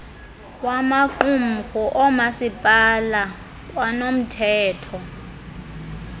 wamaqumrhu oomasipala kwanomthetho